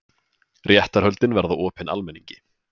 Réttarhöldin verða opin almenningi